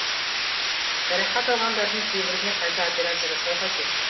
жарақат алғандардың кейбіріне қайта операция жасау қажет